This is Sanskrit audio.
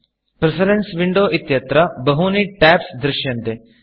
प्रेफरेन्स Windowप्रिफरेन्स् विण्डो इत्यत्र बहूनि Tabsटेब्स् दृश्यन्ते